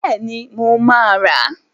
Bẹ́ẹ̀ni, mo máa rà.